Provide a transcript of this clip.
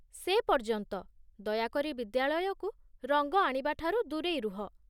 ସେପର୍ଯ୍ୟନ୍ତ, ଦୟାକରି ବିଦ୍ୟାଳୟକୁ ରଙ୍ଗ ଆଣିବା ଠାରୁ ଦୂରେଇ ରୁହ।